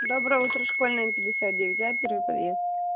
доброе утро школьная пятьдесят девять а первый подъезд